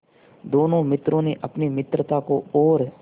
दोनों मित्रों ने अपनी मित्रता को और